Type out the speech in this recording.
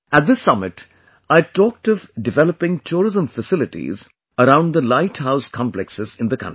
At this summit, I had talked of developing tourism facilities around the light house complexes in the country